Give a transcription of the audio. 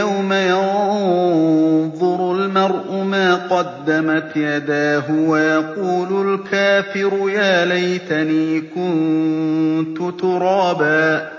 يَوْمَ يَنظُرُ الْمَرْءُ مَا قَدَّمَتْ يَدَاهُ وَيَقُولُ الْكَافِرُ يَا لَيْتَنِي كُنتُ تُرَابًا